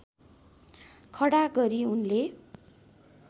खडा गरी उनले